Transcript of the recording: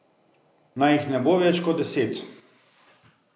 Naj jih ne bo več kot deset.